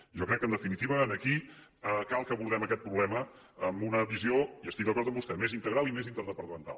jo crec que en definitiva aquí cal que abordem aquest problema amb una visió i estic d’acord amb vostè més integral i més interdepartamental